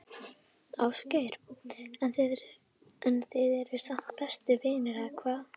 Ásgeir: En þið eruð samt bestu vinir, eða hvað?